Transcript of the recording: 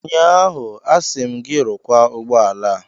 Ụnyaahụ, asị m gị, rụkwaa ụgbọ ala a!